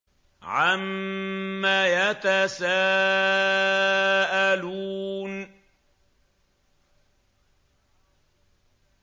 عَمَّ يَتَسَاءَلُونَ